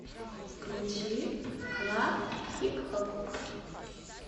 включи клаб хип хоп